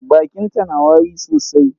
Bakinta na wari sosai.